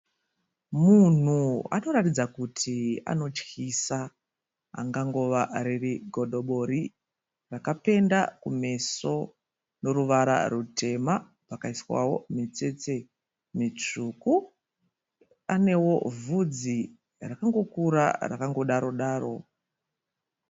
Munhu anoratidza kuti anotyisa angangova riri godobori rakapenda kumeso noruvara rutema akaiswawo mitsetse mitsvuku anewo vhudzi rakangokura rakangodaro daro.